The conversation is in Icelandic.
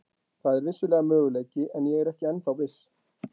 Það er vissulega möguleiki en ég er ekki ennþá viss.